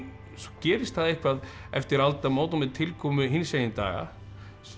gerist eitthvað eftir aldamót og með tilkomu hinsegin daga sem